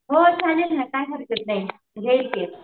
हो चालेल ना चालेल घेईल मी